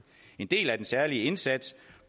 en del af den særlige indsats